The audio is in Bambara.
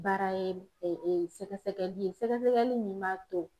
Baara ye sɛgɛsɛgɛli ye sɛgɛsɛgɛli min b'a to